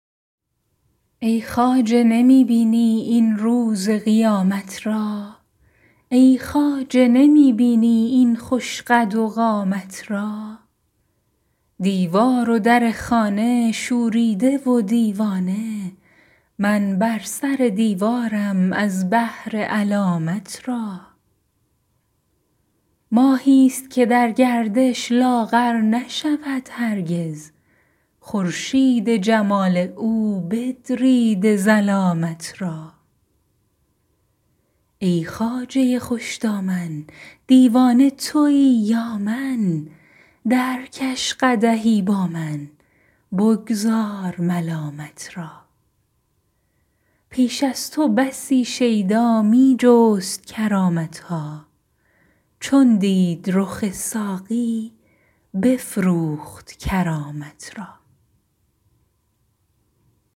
ای خواجه نمی بینی این روز قیامت را ای خواجه نمی بینی این خوش قد و قامت را دیوار و در خانه شوریده و دیوانه من بر سر دیوارم از بهر علامت را ماهیست که در گردش لاغر نشود هرگز خورشید جمال او بدریده ظلامت را ای خواجه خوش دامن دیوانه توی یا من درکش قدحی با من بگذار ملامت را پیش از تو بسی شیدا می جست کرامت ها چون دید رخ ساقی بفروخت کرامت را